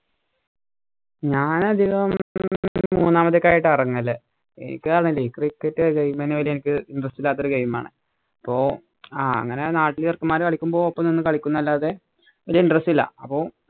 ഞാൻ അധികം മൂന്നാമതായിട്ടാ ഇറങ്ങല്. എനിക്ക് ആണേല് cricket എനിക്ക് interest ഇല്ലാത്തൊരു game ആണ് അപ്പൊ ആ അങ്ങനെ നാലഞ്ചു ചെറുക്കമാര് കളിക്കുമ്പോൾ ഒപ്പം നിന്ന് കളിക്കുമെന്ന് അല്ലാതെ വലിയ interest ഇല്ല.